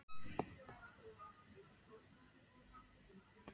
Jú, það ætti nú að vera í lagi svaraði Engilbert.